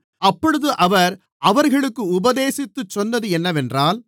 அப்பொழுது அவர் அவர்களுக்கு உபதேசித்துச் சொன்னது என்னவென்றால்